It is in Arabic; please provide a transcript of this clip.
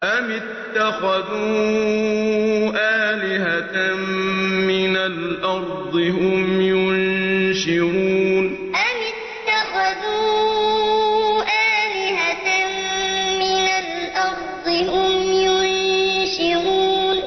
أَمِ اتَّخَذُوا آلِهَةً مِّنَ الْأَرْضِ هُمْ يُنشِرُونَ أَمِ اتَّخَذُوا آلِهَةً مِّنَ الْأَرْضِ هُمْ يُنشِرُونَ